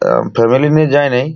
আহ family নিয়ে যাই নি।